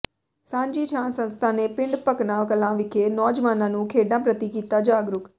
ਸਾਂਝੀ ਛਾਂ ਸੰਸਥਾ ਨੇ ਪਿੰਡ ਭਕਨਾ ਕਲਾਂ ਵਿਖੇ ਨੌਜਵਾਨਾਂ ਨੂੰ ਖੇਡਾਂ ਪ੍ਰਤੀ ਕੀਤਾ ਜਾਗਰੂਕ